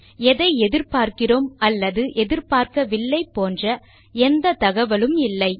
எதை எதிர்பார்க்கிறோம் அல்லது எதிர்பார்க்கவில்லை போன்ற எந்த தகவலும் இல்லை